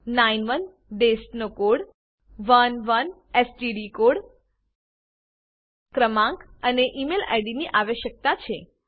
9 1 દેશ code 1 1 STD code ક્રમાંક અને ઈમેઈલ આઈડીની આવશ્યકતા છે